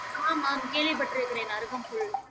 ஆமாம் கேள்விப்பட்டிருக்கிறேன் அருகம்புல்